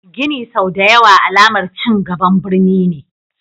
Gini sau da ya wa alamar cingaban birni ne.